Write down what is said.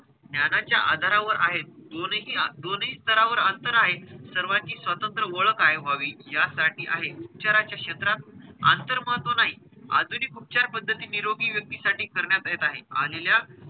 ज्ञानाच्या आधारावर आहेत. दोनही दोनही स्तरावर अंतर आहे. सर्वाची स्वतंत्र ओळख आहे व्हावी, यासाठी आहे. उपचाराच्या क्षेत्रात अंतर महत्व नाही आधुनिक उपचार पद्धती निरोगी व्यक्ती साठी करण्यात येत आहे. आलेल्या,